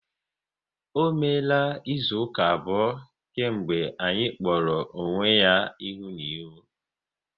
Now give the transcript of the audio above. Ọ meela izu ụka abụọ kemgbe anyị kpọrọ onwe ya ihu na ihu